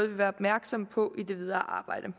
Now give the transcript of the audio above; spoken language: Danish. vil være opmærksomme på i det videre arbejde